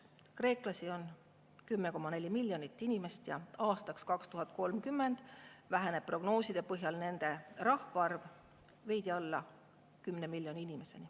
Kreeklasi on 10,4 miljonit ja aastaks 2030 prognooside põhjal nende rahvaarv väheneb, jäädes veidi alla 10 miljoni.